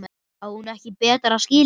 Á hún ekki betra skilið?